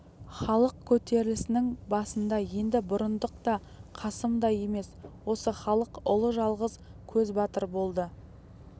халық көтерілісінің басында енді бұрындық та қасым да емес осы халық ұлы жалғыз көзбатыр болды